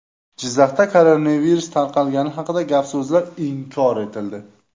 Jizzaxda koronavirus tarqalgani haqidagi gap-so‘zlar inkor etildi.